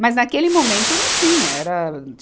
Mas, naquele momento, não tinha. Era